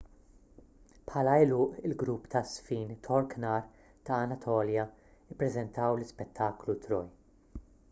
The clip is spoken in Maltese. bħala għeluq il-grupp taż-żfin tork nar ta' anatolja ppreżentaw l-ispettaklu troy